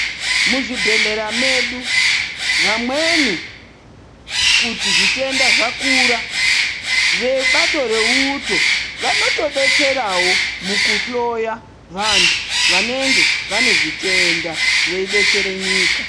Muzvibhedhlera medu vamweni kuti zvitenda zvakura vebato reuto vanotobetserawo muku hloya vantu vanenge vanezvitenda veibetsere nyika.